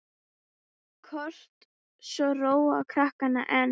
Kort svo róa krakkar enn.